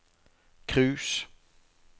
cruise